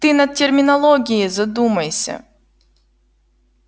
ты над терминологией задумайся